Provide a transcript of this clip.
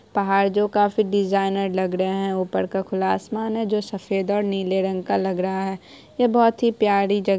पहाड़ जो काफी डिजाइनर लग रहें हैं ऊपर का खुला आसमान है जो सफेद और नीले रंग का लग रहा है ये बहुत ही प्यारी जग --